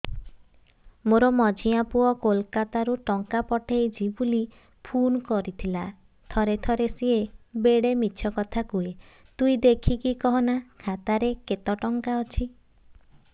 ମୋର ମଝିଆ ପୁଅ କୋଲକତା ରୁ ଟଙ୍କା ପଠେଇଚି ବୁଲି ଫୁନ କରିଥିଲା ଥରେ ଥରେ ସିଏ ବେଡେ ମିଛ କଥା କୁହେ ତୁଇ ଦେଖିକି କହନା ଖାତାରେ କେତ ଟଙ୍କା ଅଛି